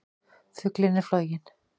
Fuglinn er floginn!